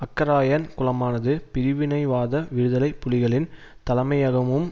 அக்கராயன் குளமானது பிரிவினைவாத விடுதலை புலிகளின் தலைமையகமும்